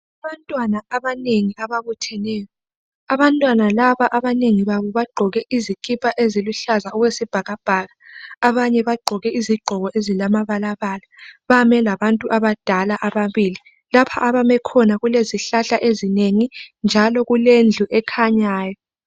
Abantwana abanengi ababutheneyo. Abantwana laba abanengi babo bagqoke izikipa eziluhlaza okwesibhakabhaka, abanye bagqoke izigqoko ezilamabalabala .Bame labantu abadala ababili. Lapha abame khona kulezihlahla ezinengi njalo kulendlu ekhanyayo.